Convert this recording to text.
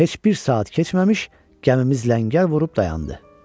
Heç bir saat keçməmiş, gəmimiz ləngər vurub dayandı.